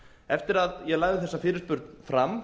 eftir að ég lagði þessa fyrirspurn fram